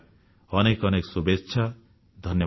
ଅନେକ ଅନେକ ଶୁଭେଚ୍ଛା ଧନ୍ୟବାଦ